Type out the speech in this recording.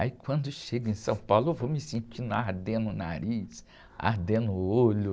Aí quando eu chego em São Paulo, eu vou me sentindo ardendo o nariz, ardendo o olho.